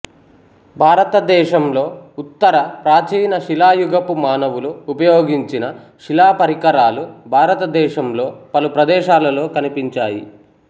భారత దేశంలో ఉత్తర ప్రాచీన శిలాయుగపు మానవులు ఉపయోగించిన శిలా పరికరాలు భారతదేశంలో పలు ప్రదేశాలలో కనిపించాయి